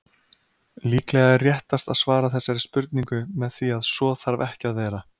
Líklega er réttast að svara þessari spurningu með því að svo þarf ekki að vera.